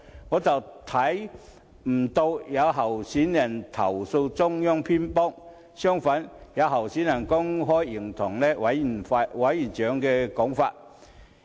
我非但不見有候選人投訴中央偏幫，反而留意到有候選人公開認同委員長的說法。